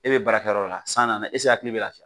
E be baara kɛ yɔrɔ la san nana esike e hakili b'e la